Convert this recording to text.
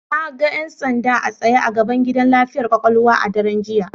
Na ga 'yan sanda a tsaye a gaban gidan lafiyar kwakwalwa a daren jiya.